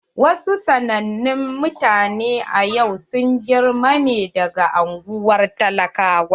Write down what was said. Wa su sanannen mutane a yau sun girma ne daga unguwar talakawa.